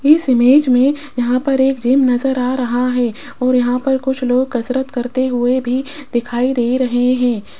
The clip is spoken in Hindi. इस इमेज में यहां पर एक जिम नजर आ रहा है और यहां पर कुछ लोग कसरत करते हुए भी दिखाई दे रहे है।